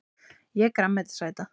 Ég er grænmetisæta!